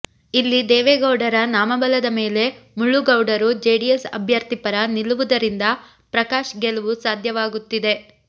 ಇಲ್ಲಿ ದೇವೇಗೌಡರ ನಾಮಬಲದ ಮೇಲೆ ಮುಳ್ಳುಗೌಡರು ಜೆಡಿಎಸ್ ಅಭ್ಯರ್ಥಿ ಪರ ನಿಲ್ಲುವುದರಿಂದ ಪ್ರಕಾಶ್ ಗೆಲುವು ಸಾಧ್ಯವಾಗುತ್ತಿದೆ